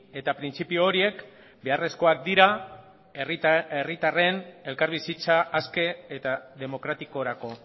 eta printzipio horiek beharrezkoak dira herritarren elkarbizitza aske eta demokratikorako